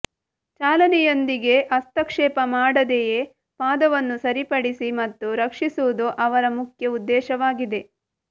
ಚಾಲನೆಯೊಂದಿಗೆ ಹಸ್ತಕ್ಷೇಪ ಮಾಡದೆಯೇ ಪಾದವನ್ನು ಸರಿಪಡಿಸಿ ಮತ್ತು ರಕ್ಷಿಸುವುದು ಅವರ ಮುಖ್ಯ ಉದ್ದೇಶವಾಗಿದೆ